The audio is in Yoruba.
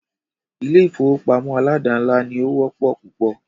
Ilé ìfọwọ́pamo aládàńlá ní o wọ́pọ̀ púpọ̀.